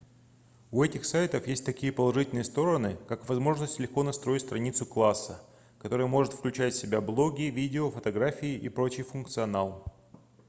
у этих сайтов есть такие положительные стороны как возможность легко настроить страницу класса которая может включать в себя блоги видео фотографии и прочий функционал